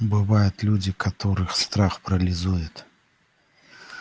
бывают люди которых страх парализует